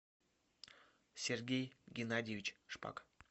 сергей геннадьевич шпак